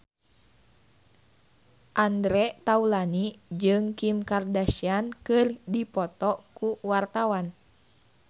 Andre Taulany jeung Kim Kardashian keur dipoto ku wartawan